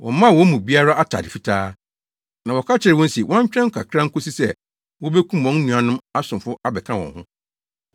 Wɔmaa wɔn mu biara atade fitaa, na wɔka kyerɛɛ wɔn se wɔntwɛn kakra nkosi sɛ wobekum wɔn nuanom asomfo abɛka wɔn ho.